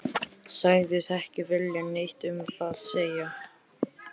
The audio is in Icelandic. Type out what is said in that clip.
Sagðist ekki vilja neitt um það segja.